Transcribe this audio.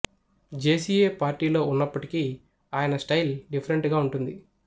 J C A పార్టీలో ఉన్నప్పటికీ ఆయన స్టైల్ డిఫరెంట్ గా వుంటుంది